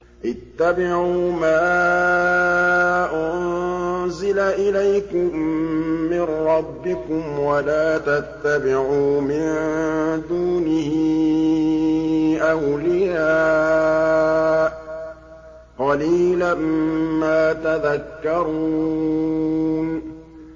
اتَّبِعُوا مَا أُنزِلَ إِلَيْكُم مِّن رَّبِّكُمْ وَلَا تَتَّبِعُوا مِن دُونِهِ أَوْلِيَاءَ ۗ قَلِيلًا مَّا تَذَكَّرُونَ